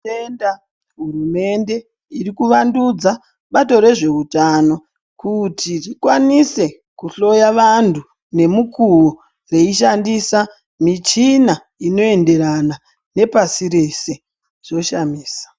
Tinotenda hurumende iri kuvandudza bato rezveutano kuti rikwanise kuhloya vantu nemukuwo veishandisa michina inoenderana nepasi reshe zvoshamisa.